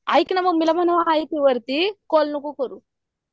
ऐक ना मामी ला कॅल नको करू